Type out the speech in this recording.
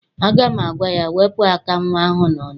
Aga m agwa ya, wepụ aka nnwa ahụ n'ọnụ!